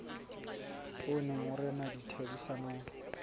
o neng o rena ditherisanong